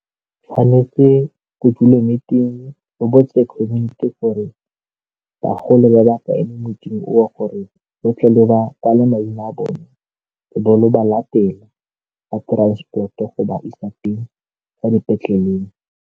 Tshwanetse ko dule o botse community gore bagolo ba le maina a bone le bo le ba latela ka transport-o go ba isa teng kwa dipetleleng.